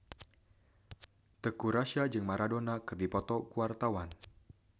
Teuku Rassya jeung Maradona keur dipoto ku wartawan